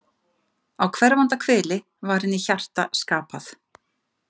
Á hverfanda hveli var henni hjarta skapað.